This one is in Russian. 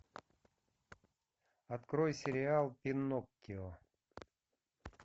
открой сериал пиноккио